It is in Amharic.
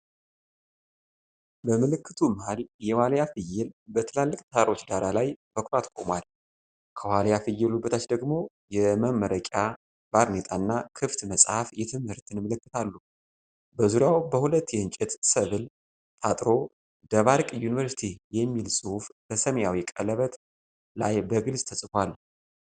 በምልክቱ መሀል የዋሊያ ፍየል በትላልቅ ተራሮች ዳራ ላይ በኩራት ቆሟል። ከዋሊያ ፍየሉ በታች ደግሞ የመመረቂያ ባርኔጣና ክፍት መጽሐፍ የትምህርትን ምልክት አሉ። በዙሪያው በሁለት የዕንጨት ሰብል ታጥሮ "ደባርቅ ዩኒቨርሲቲ" የሚል ጽሑፍ በሰማያዊ ቀለበት ላይ በግልጽ ተጽፏል።